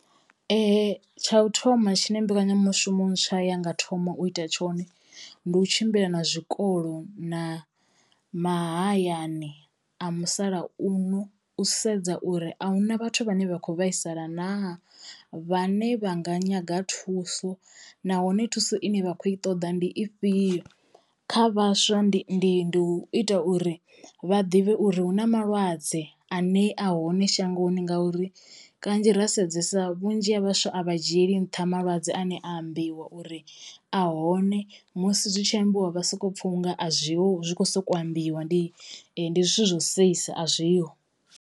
Tsha u thoma tshine mbekanyamushumo ntswa ya nga thomo u ita tshone ndi u tshimbila na zwikolo na mahayani a musalauno u sedza uri a huna vhathu vhane vha kho vhaisala naa, vhane vha nga nyaga thuso nahone thuso ine vha kho i ṱoḓa ndi ifhio. Kha vhaswa ndi ndi ndi u ita uri vha ḓivhe uri hu na malwadze ane a hone shangoni ngauri kanzhi ra sedzesa vhunzhi ha vhaswa a vha dzhieli nṱha malwadze ane a ambiwa uri ahone, musi zwi tshi ambiwa vha soko pfha unga a zwi ho zwi kho soko ambiwa ndi ndi zwithu zwo seisa a zwi ho.